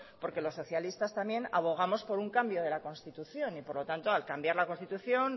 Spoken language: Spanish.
porque los socialistas también abogamos por un cambio de la constitución y por lo tanto al cambiar la constitución